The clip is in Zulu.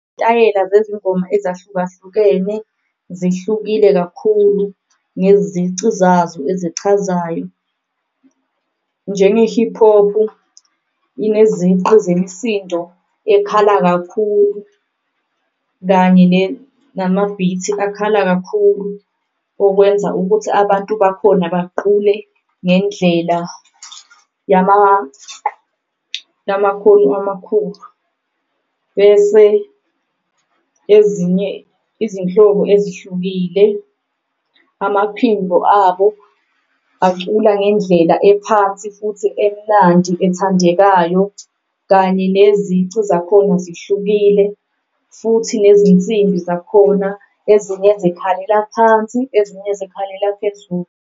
Izitayela zezingoma ezahlukahlukene zihlukile kakhulu ngezici zazo echazayo. Njenge-hip hop ineziqu zemsindo ekhala kakhulu kanye namabhithi akhala kakhulu, okwenza ukuthi abantu bakhona baqule ngendlela yamakhono amakhulu. Bese ezinye izinhlobo ezihlukile amaphimbo abo acula ngendlela ephansi futhi emnandi ethandekayo, kanye enezici zakhona zihlukile futhi nezinsimbi zakhona ezinye zikhalela phansi, ezinye zikhalela phezulu.